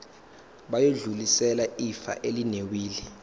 bayodlulisela ifa elinewili